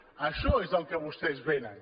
a això és al que vostès vénen